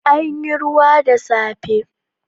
Anyi ruwa da safe.